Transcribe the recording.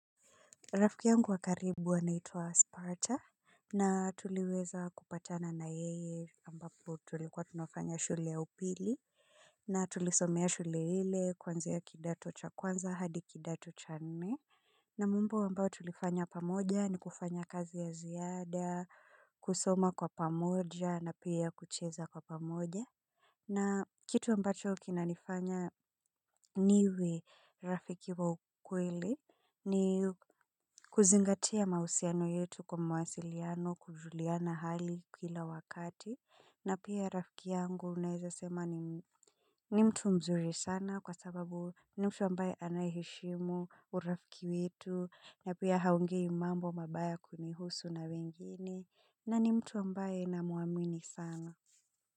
Rafiki yangu wakaribu anaitwa spawacha na tulieza kupatana na yeye ambapo tulikuwa tunafanya shule ya upili na tulisomea shule ile kuanzia kidato cha kwanzi hadi kidato cha nne na mumbo wambao tulifanya pamoja ni kufanya kazi ya ziyada kusoma kwa pamoja na pia kucheza kwa pamoja. Na kitu ambacho kina nifanya niwe rafiki wa ukweli ni kuzingatea mausiano yetu kwa mawasiliano kujuliana hali kila wakati na pia rafiki yangu unaezasema ni mtu mzuri sana kwa sababu ni mtu ambaye anaeshimu urafiki wetu na pia haungei mambo mabaya kunihusu na wengine na ni mtu ambaye na muamini sana.